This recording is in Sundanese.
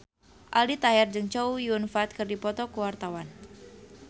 Aldi Taher jeung Chow Yun Fat keur dipoto ku wartawan